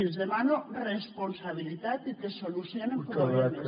els demano responsabilitat i que solucionin problemes